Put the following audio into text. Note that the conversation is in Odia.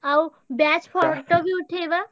ଆଉ batch photo ବି ଉଠେଇବା।